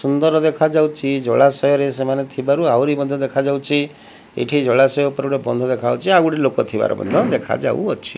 ସୁନ୍ଦର ଦେଖାଯାଉଚି ଜଳାଶୟରେ ସେମାନେ ଥିବାରୁ ଆହୁରି ମଧ୍ୟ ଦେଖାଯାଉଛି ଏଠି ଜଳାଶୟ ଉପରେ ଗୋଟେ ବନ୍ଦ ଦେଖାଯାଉଚି ଆଉ ଗୋଟେ ଲୋକ ଥିବାର ମଧ୍ୟ ଦେଖାଯାଉଅଛି।